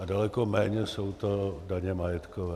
A daleko méně jsou to daně majetkové.